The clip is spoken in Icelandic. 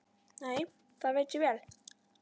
Nei, það veit ég vel.